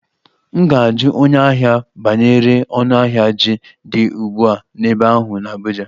M ga-ajụ onye ahịa m banyere ọnụahịa ji dị ugbu a n'ebe ahụ n'Abuja